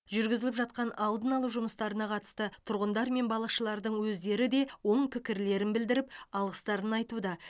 жүргізіліп жатқан алдын алу жұмыстарына қатысты тұрғындар мен балықшылардың өздері де оң пікірлерін білдіріп алғыстарын айтуда